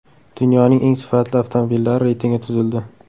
Dunyoning eng sifatli avtomobillari reytingi tuzildi.